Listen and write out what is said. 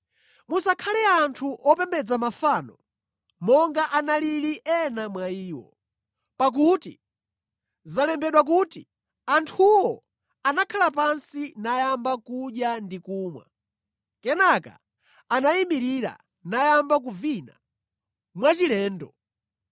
Musakhale anthu opembedza mafano, monga analili ena mwa iwo. Pakuti zalembedwa kuti, “Anthuwo anakhala pansi nayamba kudya ndi kumwa. Kenaka anayimirira nayamba kuvina mwachilendo.”